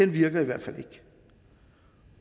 virker